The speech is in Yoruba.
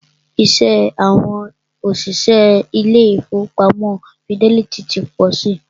Iṣẹ́ àwọn òṣìṣẹ́ ilé ìfọwọ́pamo Fidelity ti pọ si.